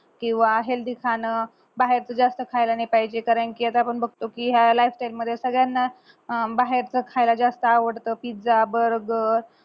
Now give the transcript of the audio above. किंवा healthy खाणं बाहेरचं जास्त खायला नाही पाहिजे कारण कि या सगळ्यांना बाहेरचं खायला जास्त आवडत pizza burger